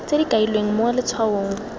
tse di kailweng mo letshwaong